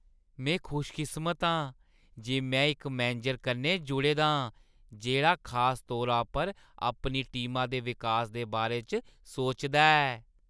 में खुशकिस्मत आं जे में इक मैनेजर कन्नै जुड़े दा आं जेह्ड़ा खास तौरा पर अपनी टीमा दे विकास दे बारे च सोचदा ऐ।